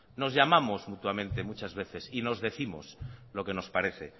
nos llamamos mutuamente muchas veces y nos décimos lo que nos parece